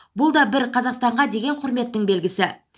бұл да бір қазақстанға деген құрметтің белгісі